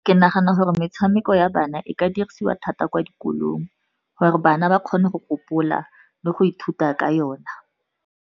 Ke nagana gore metshameko ya bana e ka dirisiwa thata kwa dikolong, gore bana ba kgone go gopola le go ithuta ka yona.